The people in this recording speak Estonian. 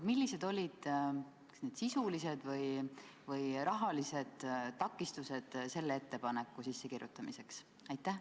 Millised olid need sisulised või rahalised takistused selle ettepaneku eelnõusse panekuks?